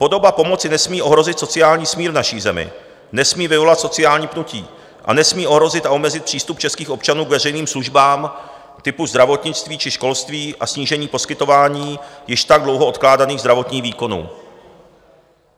Podoba pomoci nesmí ohrozit sociální smír v naší zemi, nesmí vyvolat sociální pnutí a nesmí ohrozit a omezit přístup českých občanů k veřejným službám typu zdravotnictví či školství a snížit poskytování již tak dlouho odkládaných zdravotních výkonů.